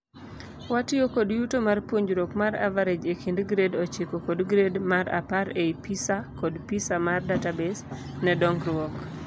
Watiyo kod yuto mar puonjruok mar average e kind grade ochiko kod grade mar apar ei PISA kod PISA mar database nar dongruook.